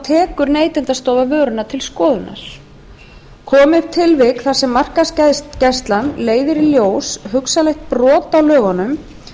tekur neytendastofa vöruna til skoðunar komi upp tilvik þar sem markaðsgæslan leiðir í ljós hugsanlegt brot á lögunum